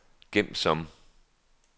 gem som